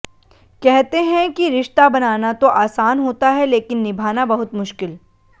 कहते हैं कि रिश्ता बनाना तो आसान होता है लेकिन निभाना बहुत मुश्किल